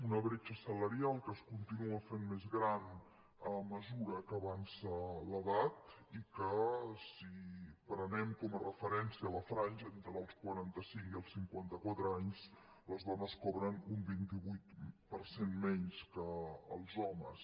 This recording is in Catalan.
una bretxa salarial que es continua fent més gran a mesura que avança l’edat i que si prenem com a referència la franja entre els quaranta cinc i els cinquanta quatre anys les dones cobren un vint vuit per cent menys que els homes